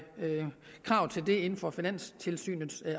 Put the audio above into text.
krav til det inden for finanstilsynets